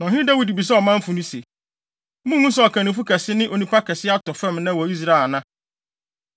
Na ɔhene Dawid bisaa ɔmanfo no se, “Munhu sɛ ɔkannifo kɛse ne onipa kɛse atɔ fam nnɛ wɔ Israel ana?